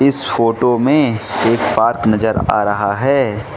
इस फोटो में एक पार्क नजर आ रहा है।